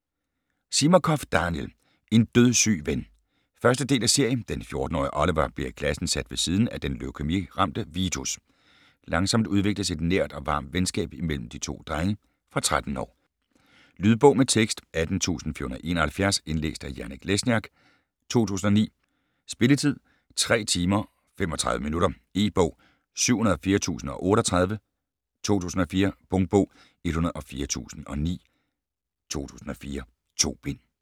Zimakoff, Daniel: En dødssyg ven 1. del af serie. Den 14-årige Oliver bliver i klassen sat ved siden af den leukæmi-ramte Vitus. Langsomt udvikles et nært og varmt venskab imellem de to drenge. Fra 13 år. Lydbog med tekst 18471 Indlæst af Janek Lesniak, 2009. Spilletid: 3 timer, 35 minutter. E-bog 704038 2004. Punktbog 104009 2004. 2 bind.